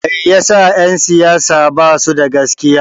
Meyasa en siyasa basu da gaskiya?